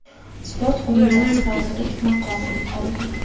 Sport Qo‘mitasi vazirlik maqomini oldi.